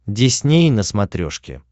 дисней на смотрешке